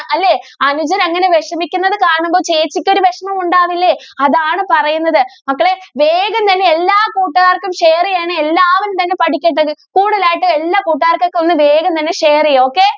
അല്ലെ അനുജൻ അങ്ങനെ വിഷമിക്കുന്നത് കാണുമ്പോൾ ചേച്ചിക്ക് ഒരു വിഷമം ഉണ്ടാവില്ലേ അതാണ് പറയുന്നത് മക്കളെ വേഗം തന്നെ എല്ലാ കൂട്ടുകാർക്കും share ചെയ്യണേ എല്ലാവരും തന്നെ പഠിക്കട്ടെഎല്ലാ കൂട്ടുകാർക്കും ഒക്കെ തന്നെ വേഗം തന്നെ ഷെയർ ചെയ്യ് okay.